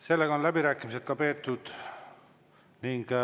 Sellega on läbirääkimised peetud.